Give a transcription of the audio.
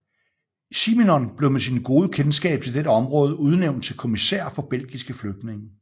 Simenon blev med sine gode kendskab til dette område udnævnt til kommissær for belgiske flygtninge